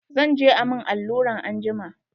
Zan je a mun alluran anjima.